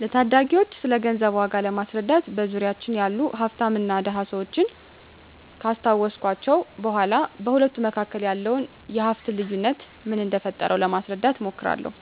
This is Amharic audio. ለታዳጊወች ስለገንዘብ ዋጋ ለማስረዳት በዙሪያችን ያሉ ሀፍታምና ድሀ ሰወችን ካስታወስኳቸው በኋ በሁለቱ መካከል ያለውን የሀፍት ልዮነት ምን እደፈጠረው ለማስረዳት እሞክራለሁ።